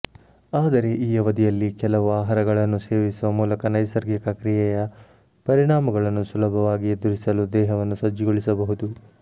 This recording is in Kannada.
ಆದರೆ ಈ ಅವಧಿಯಲ್ಲಿ ಕೆಲವು ಆಹಾರಗಳನ್ನು ಸೇವಿಸುವ ಮೂಲಕ ನೈಸರ್ಗಿಕ ಕ್ರಿಯೆಯ ಪರಿಣಾಮಗಳನ್ನು ಸುಲಭವಾಗಿ ಎದುರಿಸಲು ದೇಹವನ್ನು ಸಜ್ಜುಗೊಳಿಸಬಹುದು